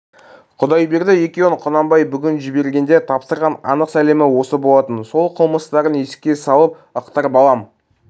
құдайберді екеуін құнанбай бүгін жібергенде тапсырған анық сәлемі осы болатын сол қылмыстарын еске салып ықтырып алам